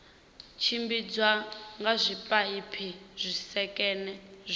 tshimbidzwa nga zwipaipi zwisekene zwine